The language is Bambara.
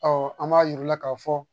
an b'a yir'u la k'a fɔ